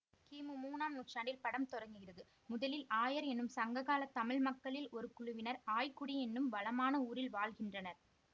கிமு மூணாம் நூற்றாண்டில் படம் தொடங்குகிறது முதலில் ஆயர் என்னும் சங்ககால தமிழ் மக்களில் ஒரு குழுவினர் ஆய்க்குடி என்னும் வளமான ஊரில் வாழ்கின்றனர்